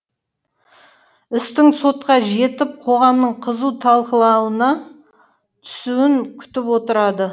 істің сотқа жетіп қоғамның қызу талқылануына түсуін күтіп отырады